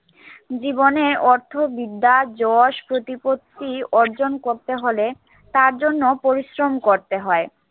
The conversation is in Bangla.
জীবনে অর্থ, বিদ্যা, যশ, প্রতিপত্তি অর্জন করতে হলে তার জন্য পরিশ্রম করতে হয়।